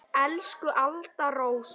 Elsku Alda Rós.